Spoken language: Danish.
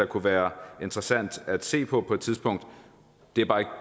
kunne være interessant at se på på et tidspunkt det er bare ikke